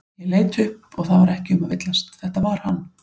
Ég leit upp það var ekki um að villast, þetta var hann.